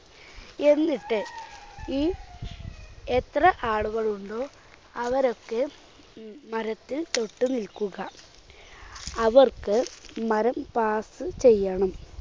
എന്നിട്ട് ഈ എത്ര ആളുകളുണ്ടോ അവരൊക്കെ ഉം മരത്തിൽ തൊട്ടു നിൽക്കുക. അവർക്ക് മരം pass ചെയ്യണം.